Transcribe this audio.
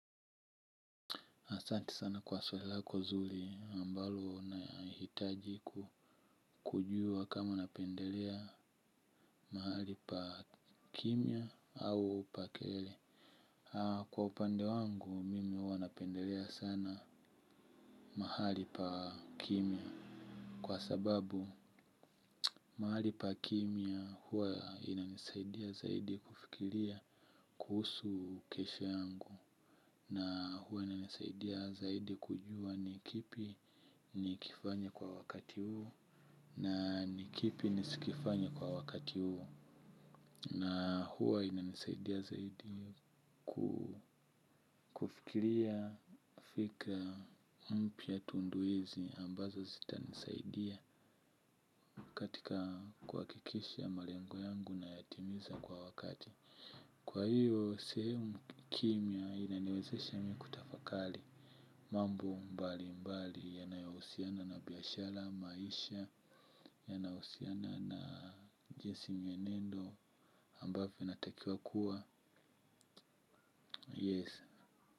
Asanti sana kwa swali lako zuri ambalo nahitaji kujua kama napendelea mahali pa kimya au pa kelele. Kwa upande wangu mimi huwa napendelea sana mahali pa kimya. Kwa sababu mahali pa kimya huwa inanisaidia zaidi kufikiria kuhusu kesho yangu. Na huwa inanisaidia zaidi kujua ni kipi nikifanye kwa wakati huu. Na ni kipi nisikifanye kwa wakati huu. Na huwa inanisaidia zaidi kufikiria fikra mpya tunduizi ambazo zitanisaidia katika kuhakikisha malengo yangu nayatimiza kwa wakati. Kwa hiyo sehemu kimya inaniwezesha mi kutafakari. Mambo mbalimbali yanayohusiana na biashara maisha yanahusiana na jinsi mienendo ambavyo inatakiwa kuwa Yes.